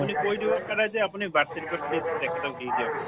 কৈ দিব পাৰে যে আপুনি birth certificate খন তেখেতক দি দিয়ক বুলি